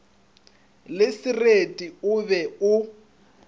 le sereti o be o